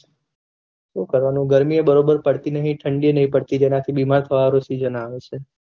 શું કરાવનું ગરમી એ બરોબર પડતી નહી ઠંડી એ નહી પડતી જરાક બીમાર પડવાનું સીસન આવે છે